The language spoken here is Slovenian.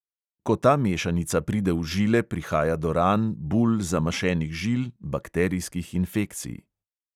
Ko ta mešanica pride v žile, prihaja do ran, bul, zamašenih žil, bakterijskih infekcij...